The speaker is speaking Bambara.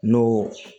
N'o